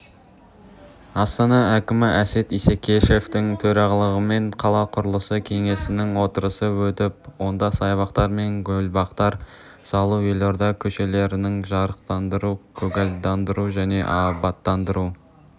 астана әкімі әсет исекешевтің төрағалығымен қала құрылысы кеңесінің отырысы өтіп онда саябақтар мен гүлбақтар салу елорда көшелерін жарықтандыру көгалдандыру және абаттандыру